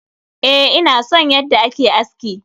Eh, na san yadda a ke aski.